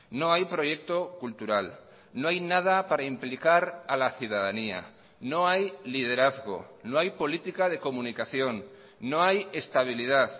no hay proyecto cultural no hay nada para implicar a la ciudadanía no hay liderazgo no hay política de comunicación no hay estabilidad